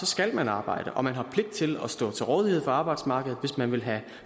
skal man arbejde og man har pligt til at stå til rådighed for arbejdsmarkedet hvis man vil have